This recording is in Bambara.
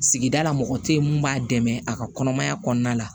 Sigidala mɔgɔ te yen mun b'a dɛmɛ a ka kɔnɔmaya kɔnɔna la